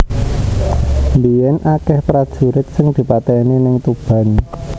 Mbiyen akeh prajurit sing dipateni ning Tuban